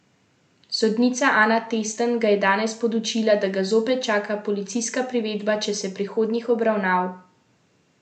Sodnica Ana Testen ga je danes podučila, da ga zopet čaka policijska privedba, če se prihodnjih obravnav ne bo udeležil, v skrajnem primeru pa lahko tudi pripor.